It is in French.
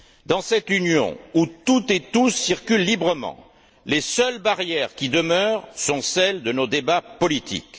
Dans cette Union où toutes et tous circulent librement, les seules barrières qui demeurent sont celles de nos débats politiques.